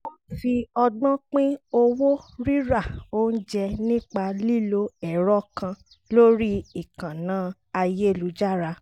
wọ́n fi ọgbọ́n pín owó rírà oúnjẹ nípa lílo ẹ̀rọ kan lórí ìkànnà ayélujára